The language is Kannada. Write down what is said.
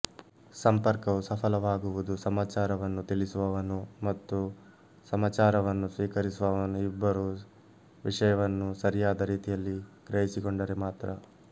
ಸಂಪರ್ಕವು ಸಫಲವಾಗುವುದು ಸಮಾಚಾರವನ್ನು ತಿಳಿಸುವವನು ಮತ್ತು ಸಮಾಚಾರವನ್ನು ಸ್ವೀಕರಿಸುವವನು ಇಬ್ಬರೂ ವಿಶಯವನ್ನು ಸರಿಯಾದ ರೀತಿಯಲ್ಲಿ ಗ್ರಹಿಸಿಕೊಂಡರೆ ಮಾತ್ರ